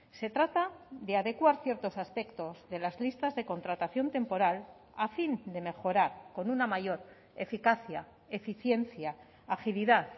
se trata de adecuar ciertos aspectos de las listas de contratación temporal a fin de mejorar con una mayor eficacia eficiencia agilidad